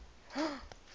scottish inventors